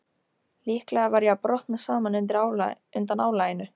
Líklega var ég að brotna saman undan álaginu.